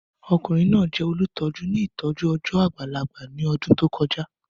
Ọkunrin naa jẹ olutọju ni itọju ọjọ agbalagba ni ọdun to koja.